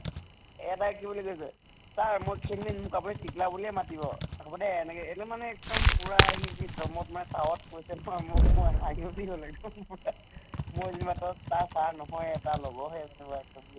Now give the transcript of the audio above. এটাই কি বুলি কৈছে sir মই ক্ষীণ মীন মোক আপুনি টিকলা বুলিয়ে মাতিব এনেকে এইটো মানে এক্দম পুৰা হি যি দমত মানে তাৱত কৈছে নহয় মোক, মই হাঁহি উঠি গʼল এক্দম মই যি মাতক তাৰ sir নহয়ে, এটা লগৰহে কিবা এক্দম